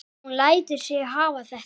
Hún lætur sig hafa þetta.